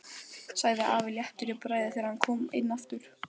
sagði afi léttur í bragði þegar hann kom inn aftur.